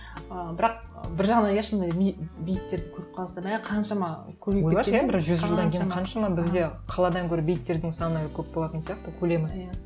ы бірақ бір жағынан иә шынында бейіттер көріп қаласың да қаншама қаншама бізде қаладан гөрі бейіттердің саны көп болатын сияқты көлемі иә